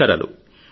నమస్కారాలు